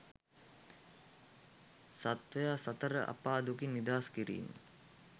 සත්වයා සතර අපා දුකින් නිදහස් කිරීම